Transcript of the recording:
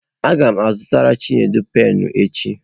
A ga m azụtara Chinedu penụ echi.